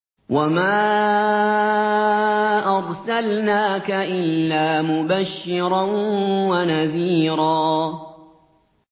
وَمَا أَرْسَلْنَاكَ إِلَّا مُبَشِّرًا وَنَذِيرًا